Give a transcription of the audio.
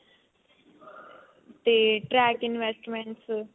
ਤੇ track investments